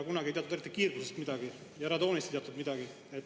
Kunagi ei teatud kiirgusest midagi ja radoonist ei teatud midagi.